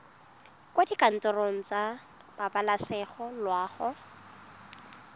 kwa dikantorong tsa pabalesego loago